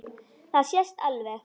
Það sést alveg.